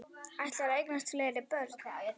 Ætlarðu að eignast fleiri börn?